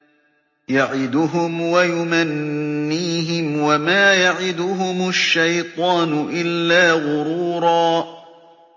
يَعِدُهُمْ وَيُمَنِّيهِمْ ۖ وَمَا يَعِدُهُمُ الشَّيْطَانُ إِلَّا غُرُورًا